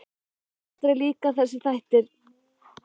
Mér hafa aldrei líkað þessir þættir.